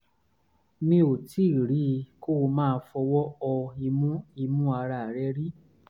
mi ò tíì rí i kó máa fọwọ́ họ imú imú ara rẹ̀ rí